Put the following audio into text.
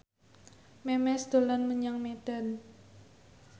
Memes dolan menyang Medan